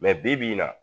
bi-bi in na